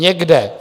Někde -